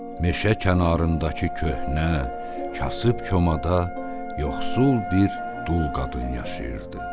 Meşə kənarındakı köhnə, kasıb komada yoxsul bir dul qadın yaşayırdı.